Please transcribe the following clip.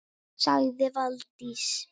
sagði Valdís